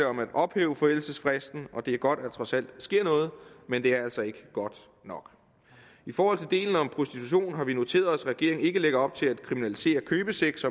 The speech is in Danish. om at ophæve forældelsesfristen og det er godt at der trods alt sker noget men det er altså ikke godt nok i forhold til delen om prostitution har vi noteret os at regeringen ikke lægger op til at kriminalisere købesex